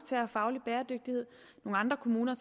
have faglig bæredygtighed andre kommuner